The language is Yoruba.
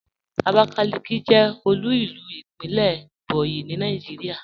Abakaliki jẹ́ òlu ilú ìpínlẹ̀ Ebonyi ní Nàìjíríà.